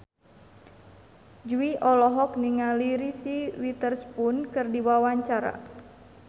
Jui olohok ningali Reese Witherspoon keur diwawancara